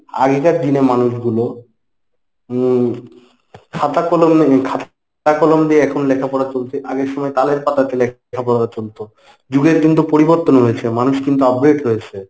আগেকার দিনে মানুষগুলো উম খাতা কলম খাতা-কলম দিয়ে এখন লেখাপড়া চলছে। আগের সময় তালের পাতাতে লেখাপড়া চলত। যুগের কিন্তু পরিবর্তন হয়েছে মানুষ কিন্তু upgrade হয়েছে।